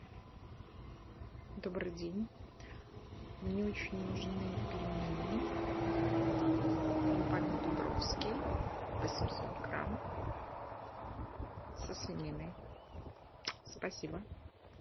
добрый день мне очень нужны пельмени компании дубровский восемьсот грамм со свининой спасибо